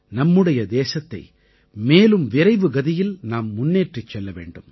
நம்முடைய தேசத்தை மேலும் விரைவுகதியில் நாம் முன்னேற்றிச் செல்ல வேண்டும்